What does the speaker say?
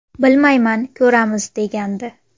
Bilmayman, ko‘ramiz”, degandi.